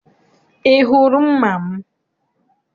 I hụrụ mma m?